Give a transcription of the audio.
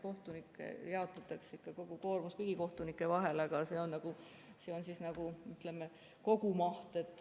Kohtunikel jaotatakse ikka kogu koormus kõigi kohtunike vahel, aga see on nagu, ütleme, kogumaht.